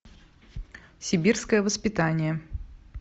сибирское воспитание